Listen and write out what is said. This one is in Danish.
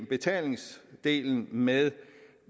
betalingsdelen med